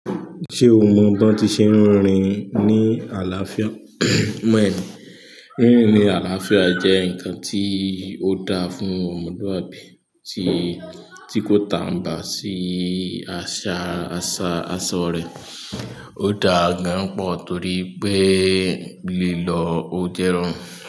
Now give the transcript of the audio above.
Ṣé o mọ bí wọ́n ti ṣe ń rìn ní àlàáfíà? Rínrìn ní àlàáfíà jẹ́ ǹkan tí ó dáa fún ọmọlúwàbí tí kò tàǹbà sí àṣà aṣọ rẹ̀. Ó dáa gan-an pọ̀ torí pé lílọ ó jẹ́rùn.